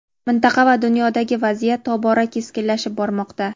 mintaqa va dunyodagi vaziyat tobora keskinlashib bormoqda.